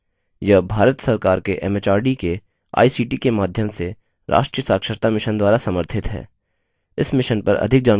यह भारत सरकार के एमएचआरडी के आईसीटी के माध्यम से राष्ट्रीय साक्षरता mission द्वारा समर्थित है